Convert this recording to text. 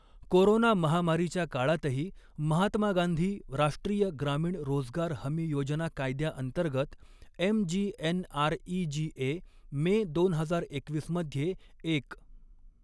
Corona महामारीच्या काळातही, महात्मा गांधी राष्ट्रीय ग्रामीण रोजगार हमी योजना कायद्याअंतर्गत एमजीएनआरईजीए मे दोन हजार एकवीस मध्ये एक.